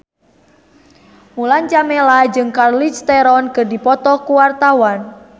Mulan Jameela jeung Charlize Theron keur dipoto ku wartawan